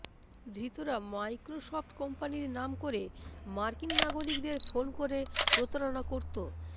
ধৃতরা Microsoft কোম্পানির নাম করে মার্কিন নাগরিকদের ফোন করে প্রতারণা করত